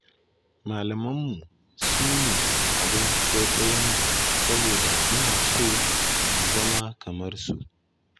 Malamanmu su ne abin kwaikwayonmu, saboda muna so mu zama kamar su.